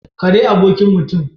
Kare abokin mutum.